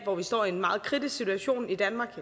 hvor vi står i en meget kritisk situation i danmark